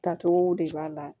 Taacogow de b'a la